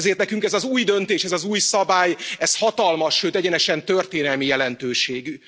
Ezért nekünk ez az új döntés, ez az új szabály, ez hatalmas, sőt egyenesen történelmi jelentőségű.